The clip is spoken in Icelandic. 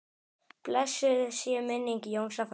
Blessuð sé minning Jónsa frænda.